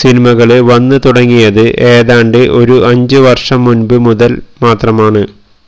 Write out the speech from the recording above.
സിനിമകള് വന്ന് തുടങ്ങിയത് ഏതാണ്ട് ഒരു അഞ്ച് വര്ഷം മുന്പ് മുതൽ മാത്രമാണ്